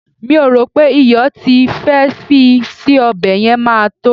mi o ro pe iyo ti ì fe fi sí obe yen ma to